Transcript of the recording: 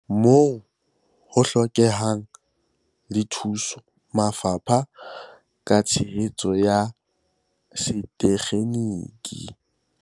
Moo ho hlokehang, le thusa mafapha ka tshehetso ya setekgeniki.